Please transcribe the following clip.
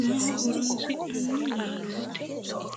maaho horonsi'nanni laalooti?